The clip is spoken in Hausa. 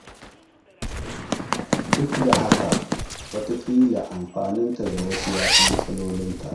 Duk da haka, wataƙila amfaninta ga wasu, ya fi matsalolinta.